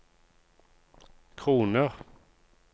kroner